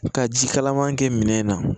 Ka ji kalaman kɛ minɛn na